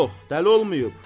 Yox, dəli olmayıb.